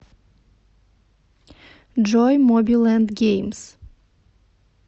джой моби лэнд геймс